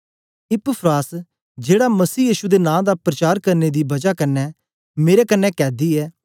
Epaphras जेड़ा मसीह यीशु दे नां दा प्रचार करने दी बजा कन्ने मेरे कन्ने कैदी ऐ